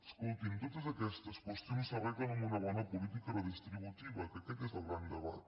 escoltin totes aquestes qüestions s’arreglen amb una bona política redistributiva que aquest és el gran debat